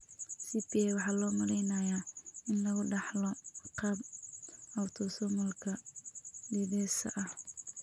CPA waxaa loo maleynayaa in lagu dhaxlo qaab autosomalka dithesa ah.